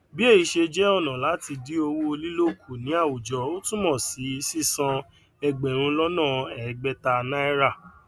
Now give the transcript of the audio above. bí èyì ṣe jẹ ọnà láti dín owó lílò kù ní àwùjọ ó túnmọ sí sísan ẹgbẹrúnlọnàẹgbẹta náírà